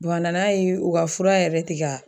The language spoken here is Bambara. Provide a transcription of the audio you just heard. a nana ye u ka fura yɛrɛ ti ka